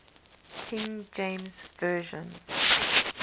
king james version